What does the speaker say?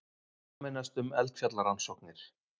Sameinast um eldfjallarannsóknir